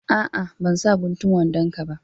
A'a ban sa guntun wandon ka ba.